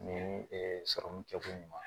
Ni sɔrɔmu kɛ ko ɲuman ye